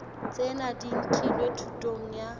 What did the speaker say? tsena di nkilwe thutong ya